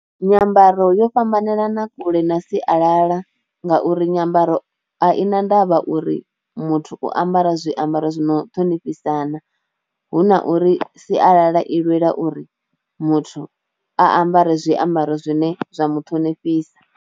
Nyambaro yo fhambanelana kule na sialala ngauri nyambaro a i na ndavha uri muthu u ambara zwiambaro zwi no ṱhonifhisa na, hu na uri sialala i lwela uri muthu a ambare zwiambaro zwine zwa mu ṱhonifhisa.